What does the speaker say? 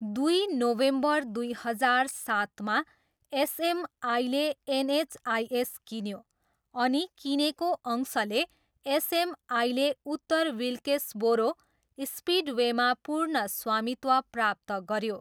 दुई नोभेम्बर दुई हजार सातमा एसएमआईले एनएचआइएस किन्यो अनि किनेको अंशले एसएमआईले उत्तर विल्केस्बोरो स्पिडवेमा पूर्ण स्वामित्व प्राप्त गऱ्यो।